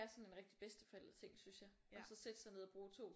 Sådan en rigtig bedsteforældreting synes jeg og så sætte sig ned og bruge 2